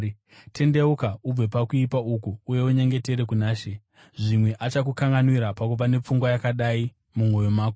Tendeuka ubve pakuipa uku uye unyengetere kuna She. Zvimwe achakukanganwira pakuva nepfungwa yakadai mumwoyo mako.